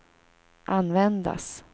användas